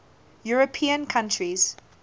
european countries